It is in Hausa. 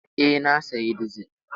Eh, na sayi dizil.